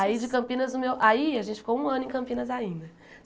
Aí de Campinas o meu aí a gente ficou um ano em Campinas ainda.